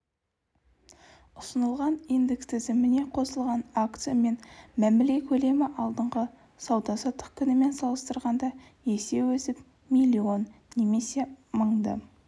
ұсынылған индекс тізіміне қосылған акциямен мәміле көлемі алдыңғы сауда-саттық күнімен салыстырғанда есе өсіп миллион немесе мыңды